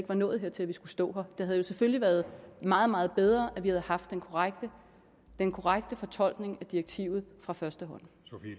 var nået dertil at vi skulle stå her det havde jo selvfølgelig været meget meget bedre at vi havde haft den korrekte den korrekte fortolkning af direktivet fra første